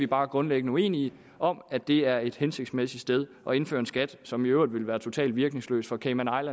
bare grundlæggende uenige om at det er et hensigtsmæssigt sted af indføre en skat som i øvrigt ville være totalt virkningsløs for cayman